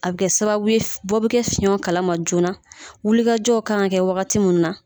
A bɛ kɛ sababu bɔ bɛ kɛ fiɲɛw kalama joona wulikajɔw kan kɛ wagati minnu na